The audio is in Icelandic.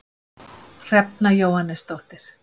Hrefna Jóhannesdóttir